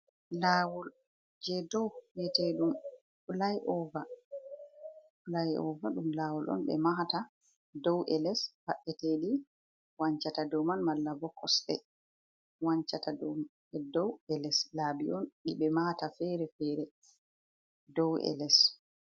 Laawol jei dou mbiyete ɗum flai ova. Flai ova ɗum lawol on ɓe mahata dou e les mba'eteeɗi wancata dou man, malla bo kosɗe wancata dou man, dou e les. Laabi on ɗi ɓe mahata fere-fere dou e les.